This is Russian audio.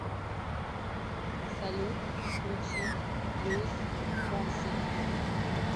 салют включи луис фонси